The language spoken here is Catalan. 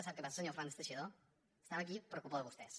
sap què passa senyor fernández teixidó estem aquí per culpa de vostès